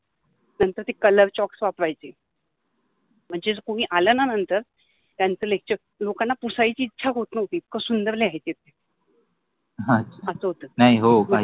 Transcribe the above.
नंतर ते colour chalks वापरायचे मनजे कुनि आल न नंतर त्यांच लेक्चर, लोकाना पुसायचि इच्छा होत नवति इतक सुंदर लिहायचे ह अच्छा, अस होत ते, नाहि हो